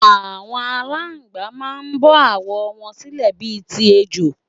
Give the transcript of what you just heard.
Àwọn Àláǹgbá man bọ́ àwọ̀ wọn sílẹ̀ bi ti ejò